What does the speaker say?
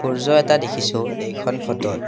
সূৰ্য্য এটা দেখিছোঁ এইখন ফটোত।